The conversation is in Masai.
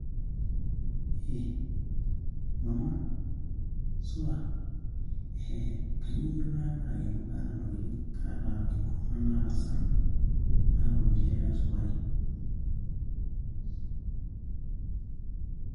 Hi! mama supa! hee kainyioo iyieu naamiraki amu kaata ntokitin ,kaata enkurma naata salan ,naata ormushele we sukari ?.